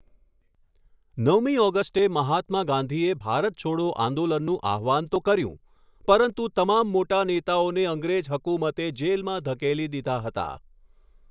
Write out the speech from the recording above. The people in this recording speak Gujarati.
નવમી ઓગષ્ટે મહાત્મા ગાંધીએ ભારત છોડો આંદોલનનું આહ્વાન તો કર્યું, પરંતુ તમામ મોટા નેતાઓને અંગ્રેજ હકુમતે જેલમાં ઘકેલી દીધા હતા.